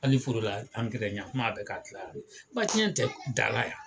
Ali forola angɛrɛ yan kuma a bɛ ka gilan yan nɔ ba cɛn tɛ dala yan